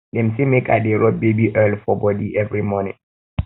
dem say make i dey rob baby oil for bodi every morning